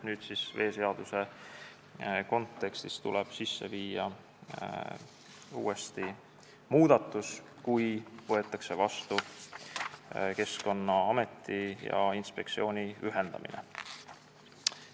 Nüüd, kui võetakse vastu Keskkonnameti ja inspektsiooni ühendamise otsus, tuleb veeseaduse kontekstis uuesti muudatus sisse viia.